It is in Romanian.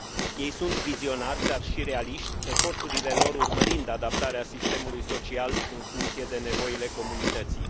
Ei sunt vizionari, dar și realiști, eforturile lor urmărind adaptarea sistemului social în funcție de nevoile comunității.